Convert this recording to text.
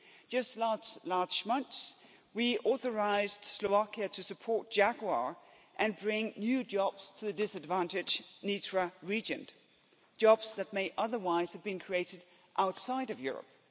Just last month we authorised Slovakia to support Jaguar and bring new jobs to the disadvantaged Nitra region, jobs that may otherwise have been created outside of Europe.